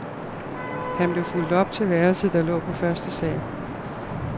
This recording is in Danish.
Han blev fulgt op til værelset, der lå på første sal.